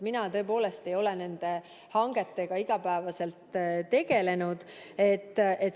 Mina tõepoolest ei ole nende hangetega igapäevaselt tegelenud.